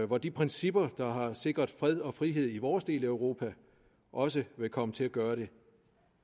hvor de principper der har sikret fred og frihed i vores del af europa også vil komme til at gøre det